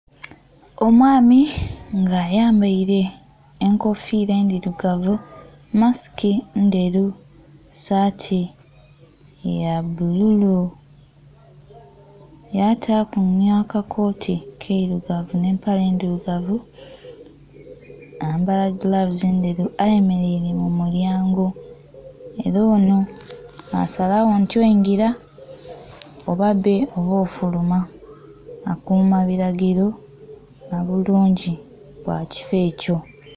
Omwaami nga ayambaire enkofira endhirugavu, masiki ndheru, saati ya bbululu yataku nha kakoti kirugavu nhe empale ndhirugavu, yayambala gilavusi ndheru. Ayemereire mu mulyango, era onho nha salagho nti oingila oba bbe oba ofuluma akuma bilagiro nha bulungi bwa ekifoo ekyo.